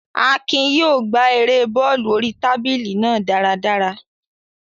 Akin yóò gbá erée bọ́ọ̀lù oríi tábìlì náà dáradára